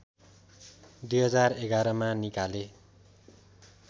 २०११ मा निकाले